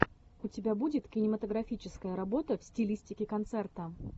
у тебя будет кинематографическая работа в стилистике концерта